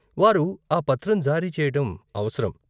వారు ఆ పత్రం జారీ చేయటం అవసరం.